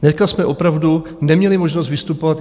Dneska jsme opravdu neměli možnost vystupovat.